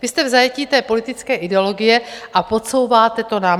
Vy jsme v zajetí té politické ideologie a podsouváte to nám.